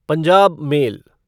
Punjab mail